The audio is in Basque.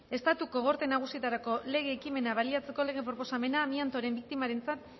estatuko gorte nagusietarako lege ekimena baliatzeko lege proposamena amiantoaren biktimentzat